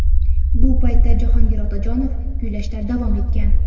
Bu paytda Jahongir Otajonov kuylashda davom etgan.